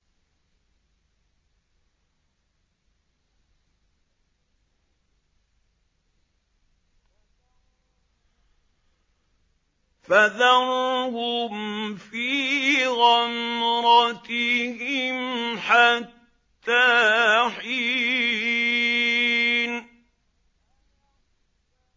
فَذَرْهُمْ فِي غَمْرَتِهِمْ حَتَّىٰ حِينٍ